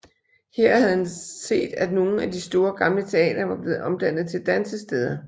Her havde han set at nogle af de store gamle teatre var blevet omdannet til dansesteder